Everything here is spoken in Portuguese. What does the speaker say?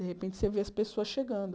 De repente, você vê as pessoas chegando.